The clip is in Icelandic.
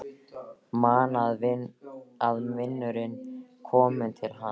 Man að vinurinn kom til hans.